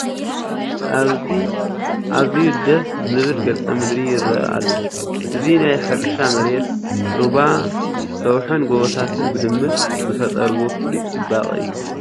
ኣብዚ ኣዝዩ ደስ ዝብል ገፀ ምድሪ ይርአ ኣሎ፡፡ እዚ ናይ ሕርሻ መሬት፡ ሩባ፣ ሰውሕን ጎቦታትን ብድምር ዝፈጠርዎ ፍሉይ ፅባቐ እዩ፡፡